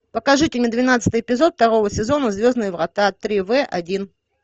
покажите мне двенадцатый эпизод второго сезона звездные врата три в один